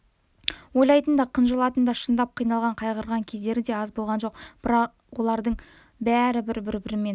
ойлайтын да қынжылатын да шындап қиналған қайғырған кездері де аз болған жоқ бірақ олардың бәрі бір-бірімен